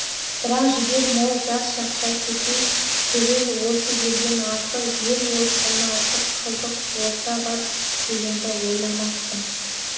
бірақ жігер мол жас шақта кету түгіл осы елден артық ел осыдан артық қызық орта бар дегенді ойламаппын